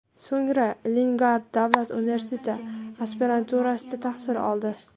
So‘ngra Leningrad davlat universiteti aspiranturasida tahsil oldi.